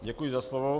Děkuji za slovo.